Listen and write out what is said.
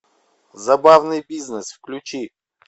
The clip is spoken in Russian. забавный бизнес включи